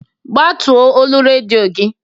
Ggbatuo olu redio gị!